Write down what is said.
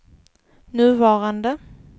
nuvarande